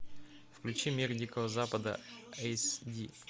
включи мир дикого запада эйс ди